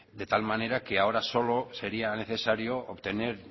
de tal manera que ahora solo sería necesario obtener